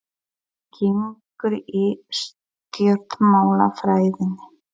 Hvernig gengur í stjórnmálafræðinni?